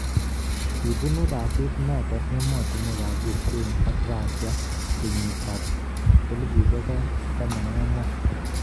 Kibunu rasit noton emotunwek ab Ukraine ak Rusia ngeyiit ab 2014.